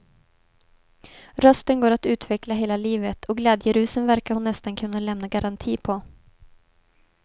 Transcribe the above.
Rösten går att utveckla hela livet och glädjerusen verkar hon nästan kunna lämna garanti på.